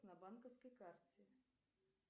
на банковской карте